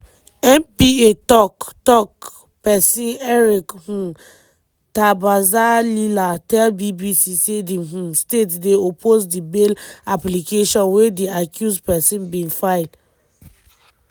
npa tok-tok pesin eric um ntabazalila tell bbc say di um state dey oppose di bail application wey di accused pesin bin file.